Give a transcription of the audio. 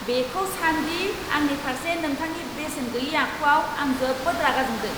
बेखौ सान दि आंनि फारसे नोंथांनि बेसेन गैयै आखुआव आं जोबोद रागा जोंदों।